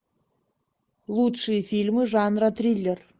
лучшие фильмы жанра триллер